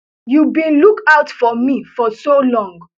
you bin look out for me for so long